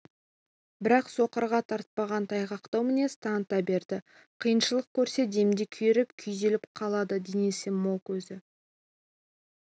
бірақ соқырға тартпаған тайғақтау мінез таныта береді қиыншылық көрсе демде күйреп күйзеліп қалады денесі мол көзі